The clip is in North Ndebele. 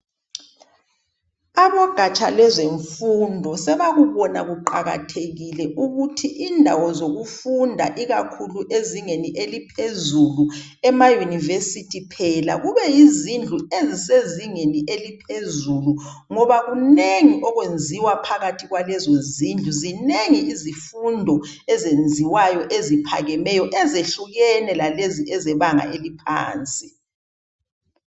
Abogatsha lezemfundo sebakubona kuqakathekile ukuthi indawo zokufunda, ikakhulu ezingeni eliphezulu ema University phela kube yizindlu ezisezingeni eliphezulu ngoba kunengi okwenziwa phakathi kwalezozindlu. Zinengi izifundo ezenziwayo eziphakemeyo ezehlukene lalezo ezebanga eliphansi.